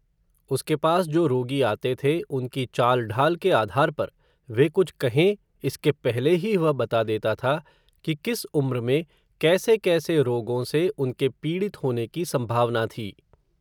उसके पास जो रोगी आते थे, उनकी चालढ़ाल के आधार पर, वे कुछ कहें, इसके पहले ही वह बता देता था, कि किस उम्र में, कैसे कैसे रोगों से, उनके पीड़ित होने की संभावना थी